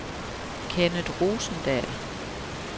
Kennet Rosendal